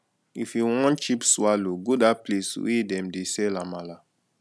if you wan cheap swallow go dat place wey dem dey sell amala